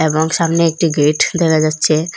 এবং সামনে একটি গেইট দেখা যাচ্ছে।